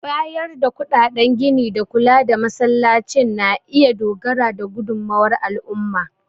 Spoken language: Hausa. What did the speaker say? Bayar da kuɗaɗen gini da kula da Masallacin na iya dogara da gudunmawar al'umma.